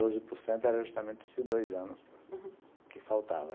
O doze por cento era justamente esses dois anos que faltava, uhum.